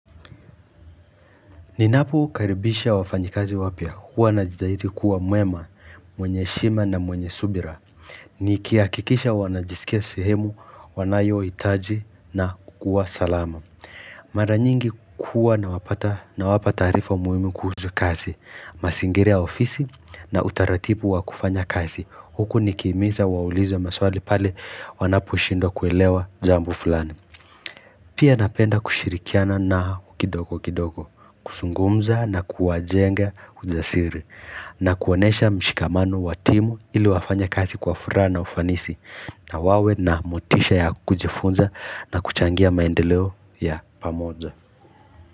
Ninapokaribisha wafanyikazi wapya, huwa najitahidi kuwa mwema, mwenye heshima na mwenye subira Nikihakikisha wanajisikia sehemu, wanayohitaji na kukuwa salama Mara nyingi kuwa nawapata na wapata wanapa taarifa muhimu kuhusu kasi, mazingira ya ofisi na utaratibu wa kufanya kazi Huku nikihimiza waulize maswali pale wanapo shindwa kuelewa jambo fulani Pia napenda kushirikiana nao kidogo kidogo, kuzungumza na kuwajenga ujasiri, na kuonesha mshikamano wa timu ili wafanye kazi kwa furaha na ufanisi, na wawe na motisha ya kujifunza na kuchangia maendeleo ya pamoja.